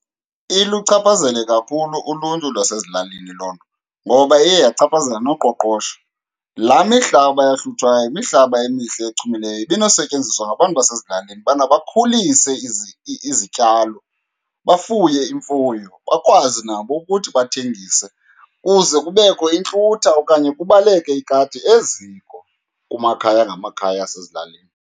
Iluchaphazele kakhulu uluntu lwasezilalini loo nto ngoba iye yachaphazela noqoqosho. Laa mihlaba yahluthwayo yimihlaba emihle echumileyo, ibinosetyenziswa ngabantu basezilalini ubana bakhulise izityalo, bafuye imfuyo, bakwazi nabo ukuthi bathengise kuze kubekho intlutha okanye kubaleke ikati eziko kumakhaya ngamakhaya asezilalini.